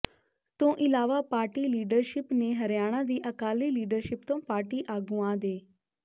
ਤੋਂ ਇਲਾਵਾ party leadership ਨੇ ਹਰਿਆਣਾ ਦੀ ਅਕਾਲੀ ਲੀਡਰਸ਼ਿਪ ਤੋਂ ਪਾਰਟੀ ਆਗੂਆਂ ਦੇ